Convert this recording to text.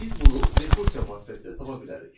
Biz bunu rekursiya vasitəsilə tapa bilərik.